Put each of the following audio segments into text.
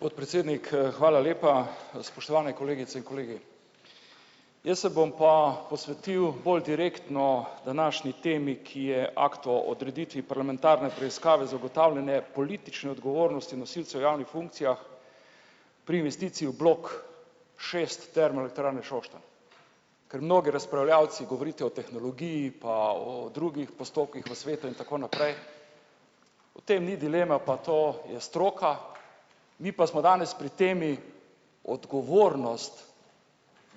Podpredsednik, hvala lepa, spoštovane kolegice in kolegi. Jaz se bom pa posvetil bolj direktno današnji temi, ki je akt o odreditvi parlamentarne preiskave zagotovljene politične odgovornosti nosilcev javnih funkcijah pri investiciji v blok šest Termoelektrarne Šoštanj. Ker mnogi razpravljavci govorite o tehnologiji pa o drugih postopkih v svetu in tako naprej, o tem ni dileme, pa to je stroka, mi pa smo danes pri temi odgovornost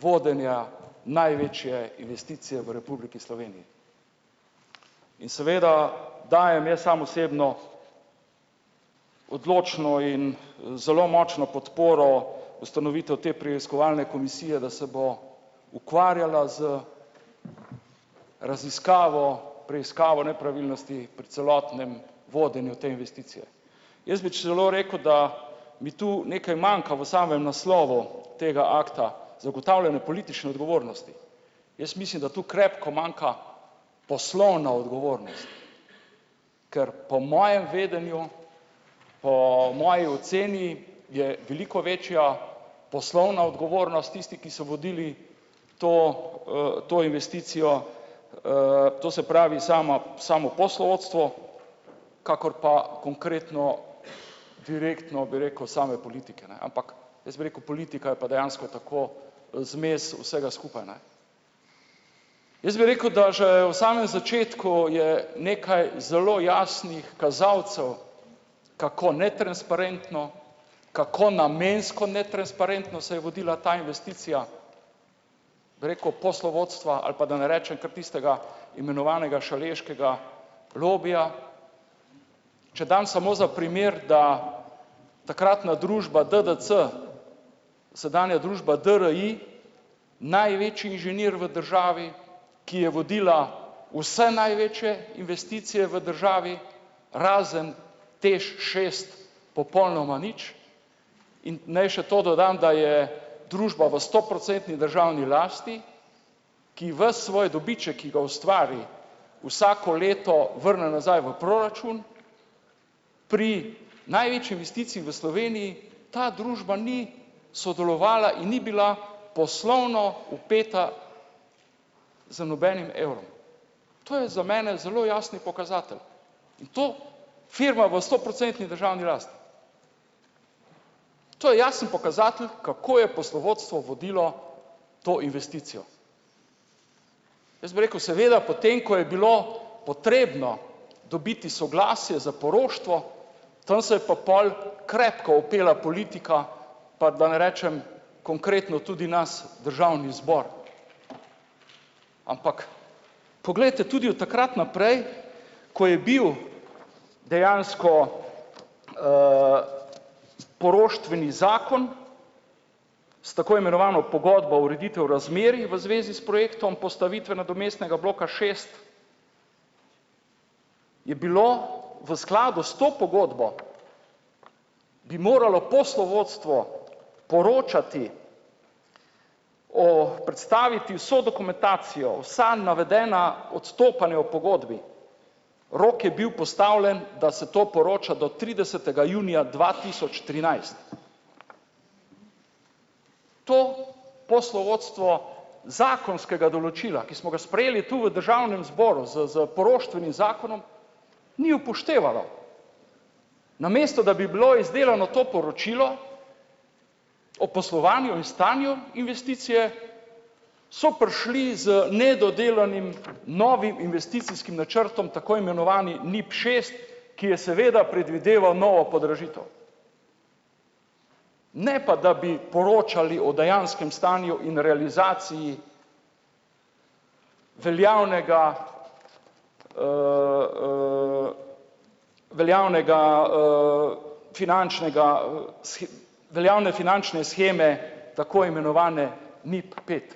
vodenja največje investicije v Republiki Sloveniji. In seveda dajem jaz sam osebno odločno in zelo močno podporo ustanovitev te preiskovalne komisije, da se bo ukvarjala z raziskavo, preiskavo nepravilnosti pri celotnem vodenju te investicije. Jaz bi celo rekel, da mu ti nekaj manjka v samem naslovu tega akta "zagotavljanje politične odgovornosti". Jaz mislim, da tu krepko manjka poslovna odgovornost. Ker po mojem vedenju, po moji oceni, je veliko večja poslovna odgovornost tistih, ki so vodili to, to investicijo, to se pravi, sama samo poslovodstvo, kakor pa konkretno, direktno, bi rekel, same politike, ne, ampak jaz bi rekel, politika je pa dejansko tako zmes vsega skupaj, ne. Jaz bi rekel, da že v samem začetku je nekaj zelo jasnih kazalcev, kako netransparentno, kako namensko netransparentno se je vodila ta investicija, bi rekel, poslovodstva ali pa da ne rečem kar tistega imenovanega šaleškega lobija. Če dam samo za primer, da takratna družba DDC, sedanja družba DRI, največji inženir v državi, ki je vodila vse največje investicije v državi razen TEŠ šest, popolnoma nič. In naj še to dodam, da je družba v stoprocentni državni lasti, ki ves svoj dobiček, ki ga ustvari, vsako leto vrne nazaj v proračun, pri največji investiciji v Sloveniji ta družba ni sodelovala in ni bila poslovno vpeta z nobenim evrom. To je za mene zelo jasen pokazatelj in to firma v stoprocentni državni lasti. To je jasen pokazatelj, kako je poslovodstvo vodilo to investicijo. Jaz bi rekel, seveda, potem ko je bilo potrebno dobiti soglasje za poroštvo, tam se je pa pol krepko vpela politika, pa da ne rečem konkretno tudi nas, državni zbor. Ampak poglejte, tudi od takrat naprej, ko je bil dejansko, poroštveni zakon s tako imenovano pogodbo ureditev razmerij v zvezi s projektom postavitev nadomestnega bloka šest, je bilo v skladu s to pogodbo, bi moralo poslovodstvo poročati o predstaviti vso dokumentacijo, vsa navedena odstopanja v pogodbi. Rok je bil postavljen, da se to poroča do tridesetega junija dva tisoč trinajst. To poslovodstvo zakonskega določila, ki smo ga sprejeli tu v državnem zboru s s poroštvenim zakonom, ni upoštevalo. Namesto da bi bilo izdelano to poročilo o poslovanju in stanju investicije, so prišli z nedodelanim novim investicijskim načrtom, tako imenovanim NIP šest, ki je seveda predvideval novo podražitev. Ne pa da bi poročali o dejanskem stanju in realizaciji veljavnega, veljavnega, finančnega, veljavne finančne sheme, tako imenovane NIP pet.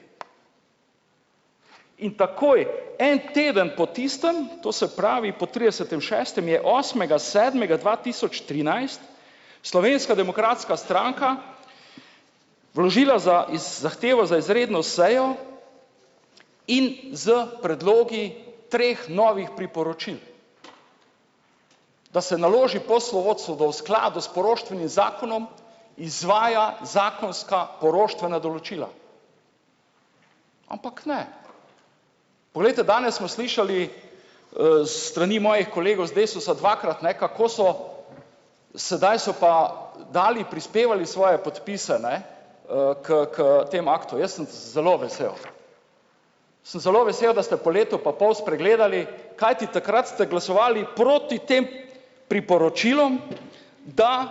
In takoj, en teden po tistem, to se pravi po tridesetim šestem je osmega sedmega dva tisoč trinajst Slovenska demokratska stranka vložila za zahtevo za izredno sejo in s predlogi treh novih priporočil. Da se naloži poslovodstvu, da v skladu s poroštvenim zakonom izvaja zakonska poroštvena določila. Ampak ne. Poglejte, danes smo slišali, s strani mojih kolegov iz Desusa dvakrat, ne, kako so sedaj so pa dali, prispevali svoje podpise, ne, k k temu aktu, jaz sem zelo vesel. Sem zelo vesel, da ste po letu pa pol spregledali, kajti takrat ste glasovali proti tem priporočilom, da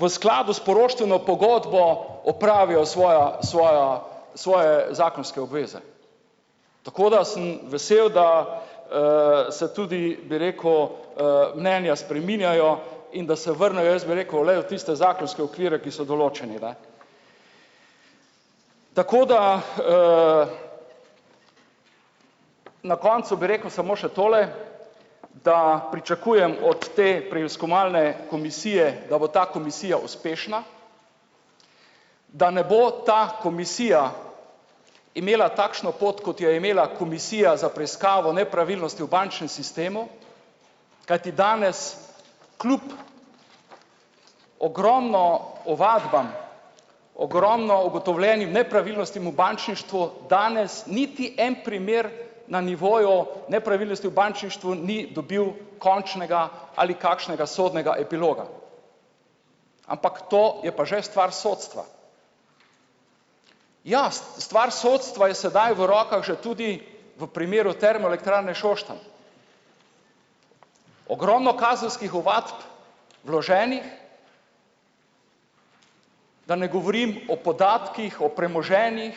v skladu s poroštveno pogodbo opravijo svoja svoja, svoje zakonske obveze. Tako da sem vesel, da, se tudi, bi rekel, mnenja spreminjajo in da se vrnejo, jaz bi rekel, glej, v tiste zakonske okvire, ki so določeni, ne. Tako da, na koncu bi rekel samo še tole, da pričakujem od te preiskovalne komisije, da bo ta komisija uspešna, da ne bo ta komisija imela takšno pot, kot jo je imela komisija za preiskavo nepravilnosti v bančnem sistemu, kajti danes kljub ogromno ovadbam, ogromno ugotovljenim nepravilnostim v bančništvu, danes niti en primer na nivoju nepravilnosti v bančništvu ni dobil končnega ali kakšnega sodnega epiloga. Ampak to je pa že stvar sodstva. Ja, stvar sodstva je sedaj v rokah že tudi v primeru Termoelektrarne Šoštanj. Ogromno kazenskih ovadb vloženih, da ne govorim o podatkih, o premoženjih,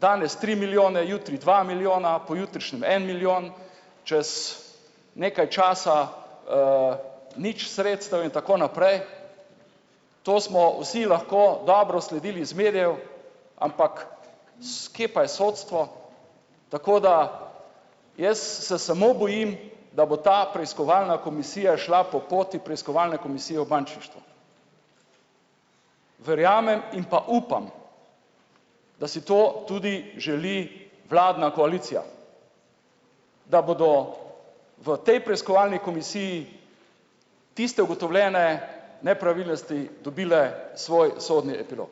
danes tri milijone, jutri dva milijona, pojutrišnjem en milijon, čez nekaj časa, nič sredstev in tako naprej. To smo vsi lahko dobro sledili iz medijev, ampak s kje pa je sodstvo? Tako da jaz se samo bojim, da bo ta preiskovalna komisija šla po poti preiskovalne komisije v bančništvu. Verjamem in pa upam, da si to tudi želi vladna koalicija. Da bodo v tej preiskovalni komisiji tiste ugotovljene nepravilnosti dobile svoj sodni epilog.